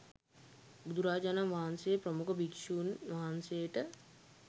බුදුරජාණන් වහන්සේ ප්‍රමුඛ භික්ෂූන් වහන්සේට